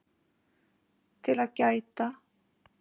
TIL AÐ GÆTA